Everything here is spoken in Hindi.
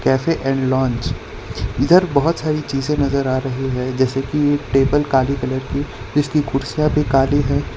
कैफे एंड लॉन्ज इधर बहोत सारी चीजे नजर आ रही है जैसे की टेबल काली कलर की इसकी कुर्सियां भी काली है।